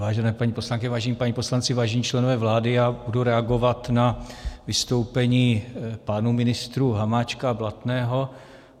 Vážené paní poslankyně, vážení páni poslanci, vážení členové vlády, já budu reagovat na vystoupení pánů ministrů Hamáčka a Blatného.